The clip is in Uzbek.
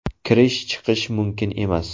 Kirish-chiqish mumkin emas.